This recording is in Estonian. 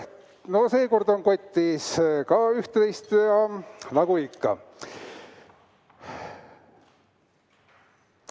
Ka seekord on kotis üht-teist nagu ikka.